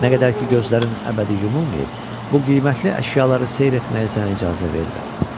Nə qədər ki, gözlərin əbədi yumulmayıb, bu qiymətli əşyaları seyr etməyə sənə icazə verirəm.